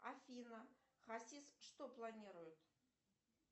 афина хасис что планирует